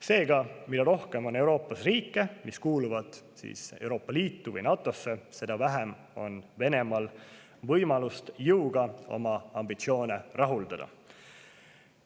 Seega, mida rohkem on Euroopas riike, mis kuuluvad Euroopa Liitu või NATO‑sse, seda vähem on Venemaal võimalusi jõuga oma ambitsioone rahuldada.